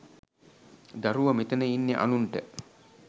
දරුව.මෙතන ඉන්නෙ අනුන්ට